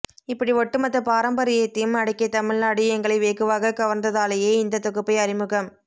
இப்படி ஒட்டுமொத்த பாரம்பரியத்தையும் அடக்கிய தமிழ்நாடு எங்களை வெகுவாகக் கவர்ந்ததாலேயே இந்த தொகுப்பை அறிமுகம்